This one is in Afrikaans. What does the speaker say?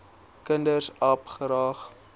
kinders aap graag